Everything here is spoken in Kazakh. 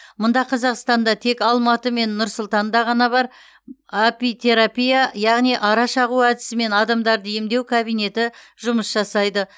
мұңда қазақстанда тек алматы мен нұр сұлтанда ғана бар апитерапия яғни ара шағу әдісімен адамдарды емдеу кабинеті жұмыс жасайды